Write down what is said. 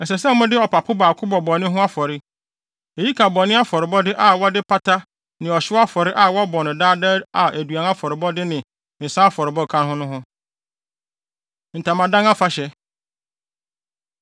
Ɛsɛ sɛ mode ɔpapo baako bɔ bɔne ho afɔre. Eyi ka bɔne afɔrebɔde a wɔbɔ de pata ne ɔhyew afɔre a wɔbɔ no daadaa a aduan afɔrebɔde ne nsa afɔre ka ho no ho. Ntamadan Afahyɛ